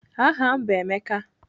Aha m bụ Emeka.